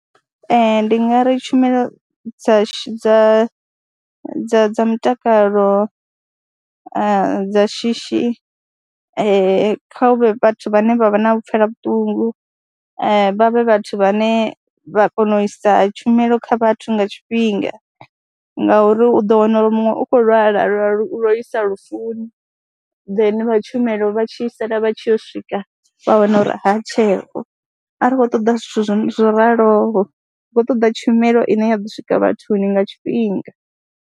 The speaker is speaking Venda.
Ee, ndi nga ri tshumelo dza dza dza dza mutakalo dza shishi kha hu vhe vhathu vhane vha vha na u pfhela vhuṱungu, vha vhe vhathu vhane vha kona u isa tshumelo kha vhathu nga tshifhinga ngauri u ḓo wana uri muṅwe u khou lwala lwo isa lufuni then vha tshumelo vha tshi sala vha tshi yo swika vha wana uri ha tsheho, a ri khou ṱoḓa zwithu zwo raloho, ri khou ṱoḓa tshumelo ine ya ḓo swika vhathuni nga tshifhinga.